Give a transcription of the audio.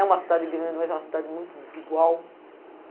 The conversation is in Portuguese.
É uma cidade grande, mas é uma cidade muito desigual.